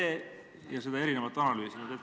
Ja nad on seda erinevalt analüüsinud.